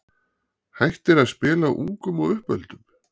hættir að spila ungum og uppöldum?